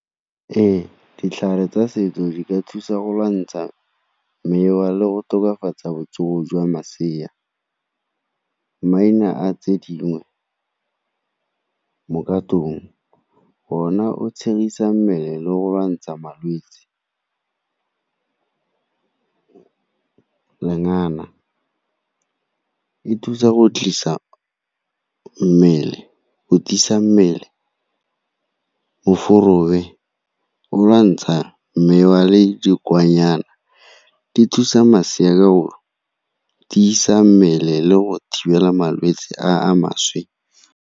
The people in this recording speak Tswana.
Ee, ditlhare tsa setso di ka thusa go lwantsha mewa le go tokafatsa botsogo jwa masea, maina a tse dingwe ona o tshwarisa mmele le go lwantsha malwetse. Lengana, le thusa go tiisa mmele o lwantsha mewa le di thusa masea ka go tiisa mmele le go thibela malwetse a a maswe.